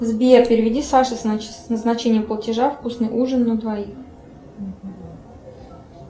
сбер переведи саше с назначением платежа вкусный ужин на двоих